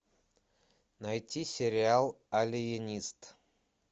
найти сериал алиенист